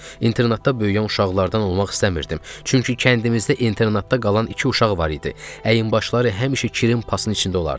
İnternatda böyüyən uşaqlardan olmaq istəmirdim, çünki kəndimizdə internatda qalan iki uşaq var idi, əyinbaşları həmişə kirin pasın içində olardı.